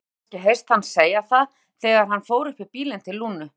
Hafði henni kannski heyrst hann segja það þegar hann fór upp í bílinn til Lúnu?